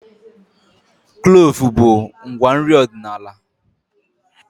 Kloovu bụ ngwa nri ọdịnala